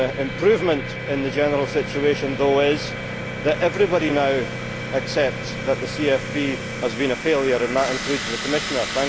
improvement in the general situation is that everybody now accepts that the CFP has been a failure, and that includes the Commissioner.